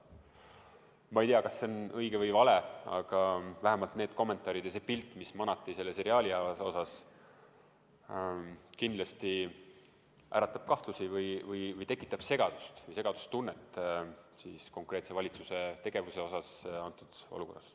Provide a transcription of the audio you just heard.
Ma ei tea, kas see on õige või vale, aga vähemalt need kommentaarid ja see pilt, mis selles seriaalis maaliti, kindlasti äratab kahtlusi või tekitab segadustunnet konkreetse valitsuse tegevuse osas tolles olukorras.